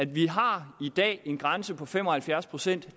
vi har i dag en grænse på fem og halvfjerds pct